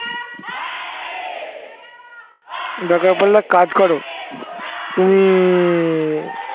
দরকার পড়লে কাজ করো তুমি